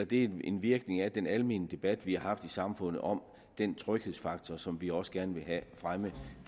det er en virkning af den almene debat vi har haft i samfundet om den tryghedsfaktor som vi også gerne vil have fremmet